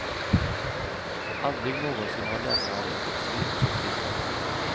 Aldrig någonsin har läsarna ringt och skrivit så flitigt.